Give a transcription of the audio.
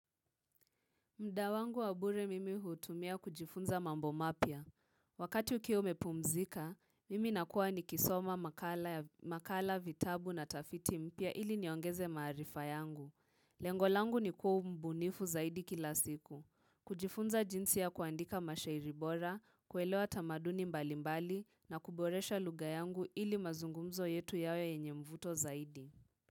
Muda wangu wa bure mimi hutumia kujifunza mambo mapya. Wakati ukiwa umepumzika, mimi nakuwa nikisoma makala ya makala vitabu na tafiti mpya ili niongeze maarifa yangu. Lengo langu ni kuwa mbunifu zaidi kila siku. Kujifunza jinsi ya kuandika mashairi bora, kuelewa tamaduni mbalimbali na kuboresha lugha yangu ili mazungumzo yetu yawe yenye mvuto zaidi.